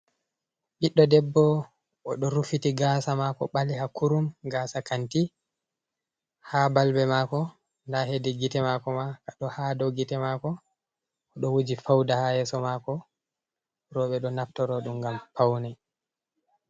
Ɓiɗɗo debbo oɗo rufiti gasa mako ɓaliha kurum gasa kanti ha balbe mako. Nda hedi gite mako ma ha ɗo ha dou gite mako, oɗo wuji fauda ha yeso mako. Roɓe ɗo nafturo ɗum ngam paune.